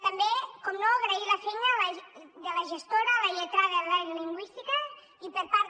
també naturalment agrair la feina de la gestora la lletrada i la lingüista i per part